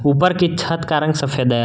ऊपर की छत का रंग सफेद है।